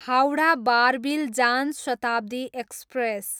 Howrah, Barbil Jan Shatabdi express